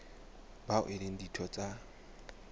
bao e leng ditho tsa